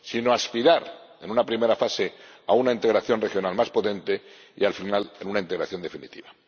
a aspirar, en una primera fase, a una integración regional más potente y, al final, a una integración definitiva.